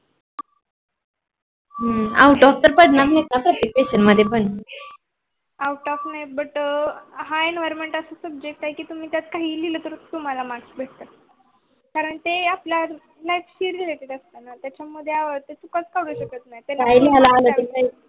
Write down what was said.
out off नहि, but हाय Environment अशे subject आहे की त्यात काही लिहल तरी तुम्हाला mark भेटतात, कारण ते आपल्या life शी related असतात. त्याच्या मध्ये आहे